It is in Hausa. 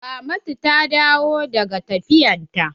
Ramatu ta dawo daga tafiyar ta?